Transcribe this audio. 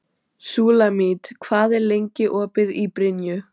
Súlamít, hvað er lengi opið í Brynju?